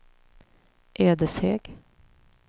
Ödeshög